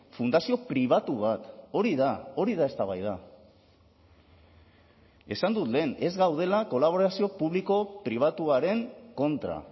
fundazio pribatu bat hori da hori da eztabaida esan dut lehen ez gaudela kolaborazio publiko pribatuaren kontra